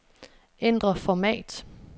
Ændr format.